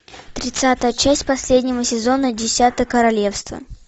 тридцатая часть последнего сезона десятое королевство